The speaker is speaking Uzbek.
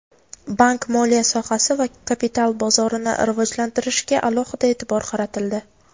bank-moliya sohasi va kapital bozorini rivojlantirishga alohida e’tibor qaratildi.